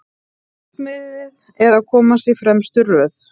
Markmiðið að komast í fremstu röð